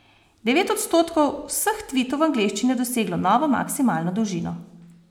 Devet odstotkov vseh tvitov v angleščini je doseglo novo maksimalno dolžino.